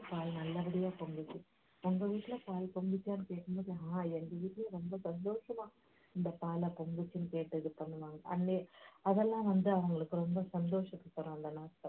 பால் நல்லபடியா பொங்குச்சு உங்க வீட்டுல பால் பொங்குச்சான்னு கேக்கும்போது அஹ் எங்க வீட்டுலேயும் ரொம்ப சந்தொஷமா இந்த பாலைப் பொங்குச்சுன்னு கேட்டு இது பண்ணுவாங்க அதெல்லாம் வந்து அவங்களுக்கு ரொம்ப சந்தோஷத்தைத் தரும் அந்த நாட்கள்